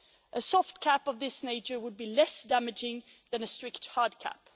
A soft cap of this nature would be less damaging than a strict hard cap.